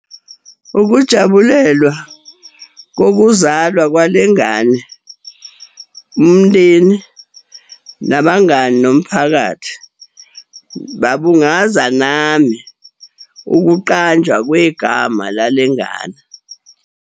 Ukujabulelwa kokuzalwa kwale ngane, umndeni, nabangani, nomphakathi, babungaza nami, ukuqanjwa kwegama lale ngane.